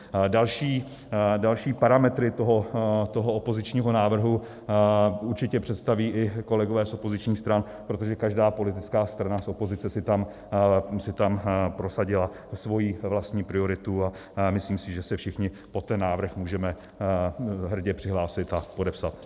Další parametry toho opozičního návrhu určitě představí i kolegové z opozičních stran, protože každá politická strana z opozice si tam prosadila svoji vlastní prioritu a myslím si, že se všichni pod ten návrh můžeme hrdě přihlásit a podepsat.